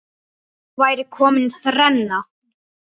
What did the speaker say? Þá væri komin þrenna.